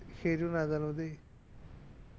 সেইটো সেইটো নাজানো দেই